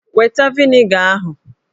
Weta vịnịga ahụ!